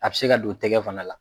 A bɛ se ka don tɛgɛ fana la;